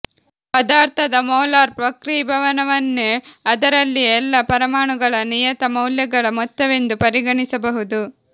ಪದಾರ್ಥದ ಮೋಲಾರ್ ವಕ್ರೀಭವನವನ್ನೇ ಅದರಲ್ಲಿಯ ಎಲ್ಲ ಪರಮಾಣುಗಳ ನಿಯತ ಮೌಲ್ಯಗಳ ಮೊತ್ತವೆಂದು ಪರಿಗಣಿಸಬಹುದು